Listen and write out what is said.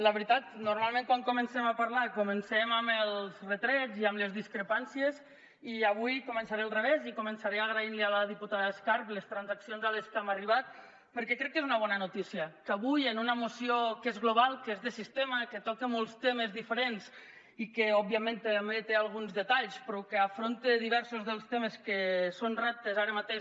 la veritat normalment quan comencem a parlar comencem amb els retrets i amb les discrepàncies i avui començaré al revés i començaré agraint a la diputada escarp les transaccions a què hem arribat perquè crec que és una bona notícia que avui en una moció que és global que és de sistema que toca molts temes diferents i que òbviament també té alguns detalls però que afronta diversos del temes que són reptes que ara mateix